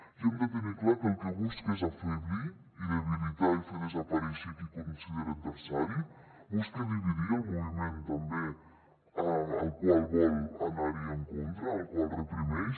i hem de tenir clar que el que busca és afeblir i debilitar i fer desaparèixer qui considera adversari busca dividir el moviment també al qual vol anar en contra al qual reprimeix